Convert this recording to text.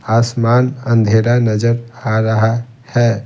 आसमान अंधेरा नजर आ रहा है।